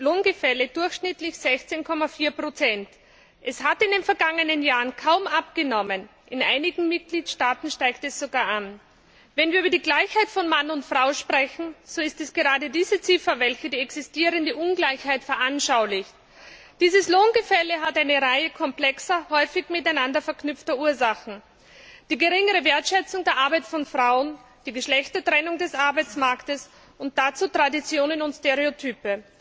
Dankeschön. In der EU beträgt das geschlechtsspezifische Lohngefälle durchschnittlich 16,4 Prozent. Es hat in den vergangenen Jahren kaum abgenommen. In einigen Mitgliedstaaten steigt es sogar an. Wenn wir über die Gleichheit von Mann und Frau sprechen, so ist es gerade diese Ziffer, welche die existierende Ungleichheit veranschaulicht. Dieses Lohngefälle hat eine Reihe komplexer, häufig miteinander verknüpfter Ursachen die geringere Wertschätzung der Arbeit von Frauen, die Geschlechtertrennung des Arbeitsmarktes und dazu Traditionen und Stereotype.